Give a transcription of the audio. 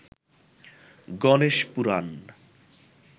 Ganesh Purana